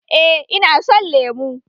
Eh Ina son lemu